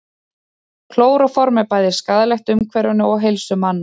klóróform er bæði skaðlegt umhverfinu og heilsu manna